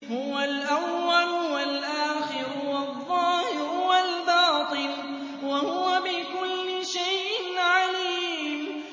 هُوَ الْأَوَّلُ وَالْآخِرُ وَالظَّاهِرُ وَالْبَاطِنُ ۖ وَهُوَ بِكُلِّ شَيْءٍ عَلِيمٌ